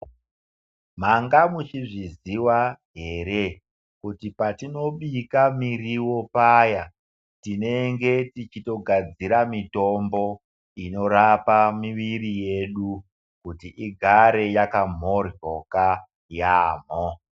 Manga muchizviziva here, kuti patinobika miriwo paya, tinenge tichitogadzira mitombo inorapa miviri yedu, kuti igare yakamhoryoka yaamho.